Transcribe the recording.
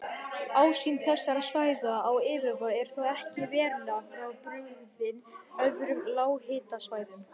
Ásýnd þessara svæða á yfirborði er þó ekki verulega frábrugðin öðrum lághitasvæðum.